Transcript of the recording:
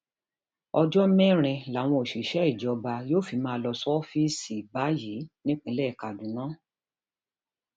ọjọ mẹrin làwọn òṣìṣẹ um ìjọba yóò fi máa lọ ṣọọfíìsì um báyìí nípìnlẹ kaduna